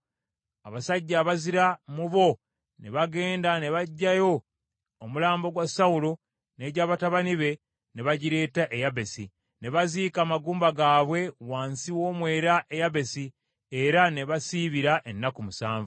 abasajja abazira mu bo ne bagenda ne baggyayo omulambo gwa Sawulo n’eggya batabani be, ne bagireeta e Yabesi. Ne baziika amagumba gaabwe wansi w’omwera e Yabesi, era ne basiibira ennaku musanvu.